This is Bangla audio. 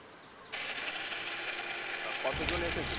তা কতজন এসেছিল?